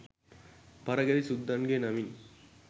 පරගැති සුද්දන්ගෙ නමින්.